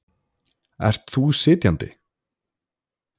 Ert þú sitjandi?